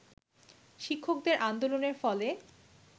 শিক্ষকদের আন্দোলনের ফলে